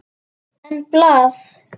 En blað?